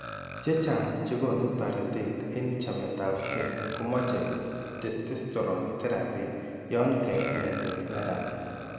Chechang chekoonu taretet en chameetapkeey komoche testosterone therapy yon kait ngetet neran.